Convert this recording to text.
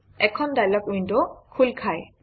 এখন dialog window খোল খায়